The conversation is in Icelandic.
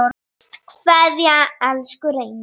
HINSTA KVEÐJA Elsku Reynir.